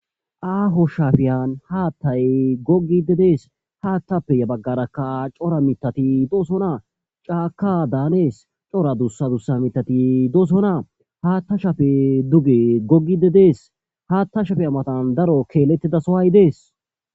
Aaho shafiyan haattay gogide dees haattappe ya baggarakka cora mitati doosonaa caaka daanees cora duussa dusa mitati doosona haatta shafe duge gogide dees haatta shafe amatan daro keellettida sohay dees.